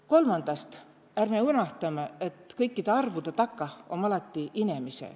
Kolmandast, ärme unõhtamõ, et kõikidõ arvudõ takah om alati inemise.